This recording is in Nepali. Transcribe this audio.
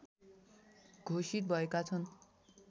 घोषित भएका छन्